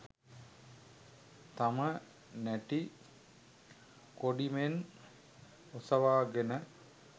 තම නැටි කොඩි මෙන් ඔසවාගෙන